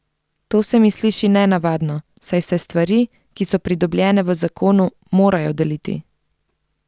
To se mi sliši nenavadno, saj se stvari, ki so pridobljene v zakonu, morajo deliti.